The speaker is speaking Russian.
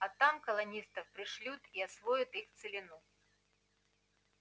а там колонистов пришлют и освоят их целину